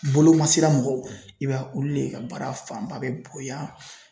Bolomasira mɔgɔw i b'a ye olu le ka baara fanba bɛ bonya